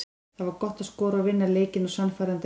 Það var gott að skora og vinna leikinn á sannfærandi hátt.